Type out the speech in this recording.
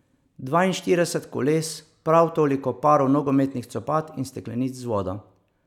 Dvainštirideset koles, prav toliko parov nogometnih copat in steklenic z vodo.